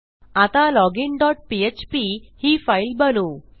आता login dot PHP ही file बनवू